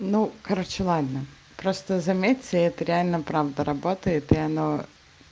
ну короче ладно просто заметьте это реально правда работает и оно